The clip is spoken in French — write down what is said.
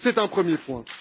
C'est un premier point.